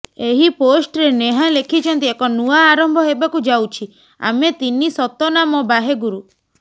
ଏହି ପୋଷ୍ଟରେ ନେହା ଲେଖିଛନ୍ତି ଏକ ନୂଆ ଆରମ୍ଭ ହେବାକୁ ଯାଉଛି ଆମେ ତିନି ସତନାମ ବାହେ ଗୁରୁ